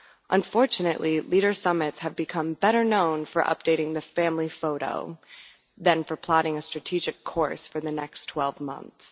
Unfortunately, leader summits have become better known for updating the family photo than for plotting a strategic course for the next twelve months.